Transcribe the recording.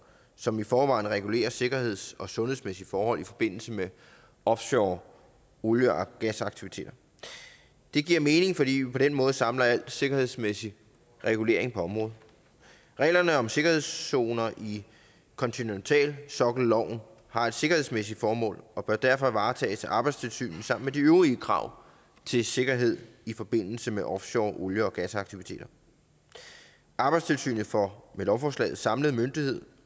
som i forvejen regulerer sikkerheds og sundhedsmæssige forhold i forbindelse med offshore olie og gasaktiviteter det giver mening fordi vi på den måde samler al sikkerhedsmæssig regulering på området reglerne om sikkerhedszoner i kontinentalsokkelloven har et sikkerhedsmæssigt formål og bør derfor varetages af arbejdstilsynet sammen med de øvrige krav til sikkerhed i forbindelse med offshore olie og gasaktiviteter arbejdstilsynet får med lovforslaget en samlet myndighed